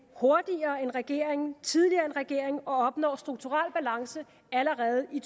hurtigere end regeringen tidligere end regeringen og opnår strukturel balance allerede i